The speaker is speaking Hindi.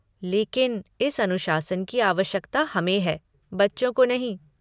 लेकिन इस अनुशासन की आवश्यकता हमें है, बच्चों को नहीं।